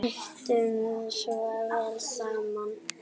Áttum svo vel saman.